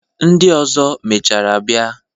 Ndị ọzọ mechaara bịa.